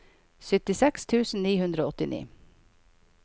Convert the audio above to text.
syttiseks tusen ni hundre og åttini